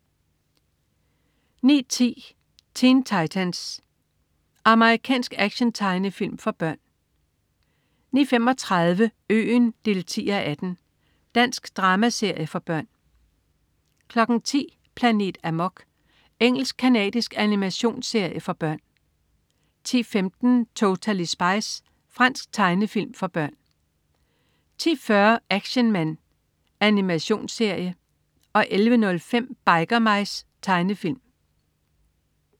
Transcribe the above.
09.10 Teen Titans. Amerikansk actiontegnefilm for børn 09.35 Øen 10:18. Dansk dramaserie for børn 10.00 Planet Amok. Engelsk-canadisk animationsserie for børn 10.15 Totally Spies. Fransk tegnefilm for børn 10.40 Action Man. Animationsserie 11.05 Biker Mice. Tegnefilm